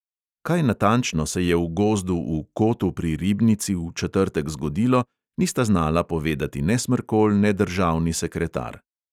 Kaj natančno se je v gozdu v kotu pri ribnici v četrtek zgodilo, nista znala povedati ne smrkolj ne državni sekretar.